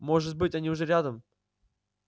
может быть они уже рядом